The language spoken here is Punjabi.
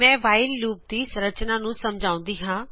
ਮੈਂ whileਲੂਪ ਦੀ ਸਨਰਚਨਾ ਨੂੰ ਸਮਝਾਉਂਦੀ ਹਾਂ